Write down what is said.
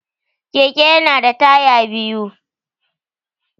Keke ya na da taya biyu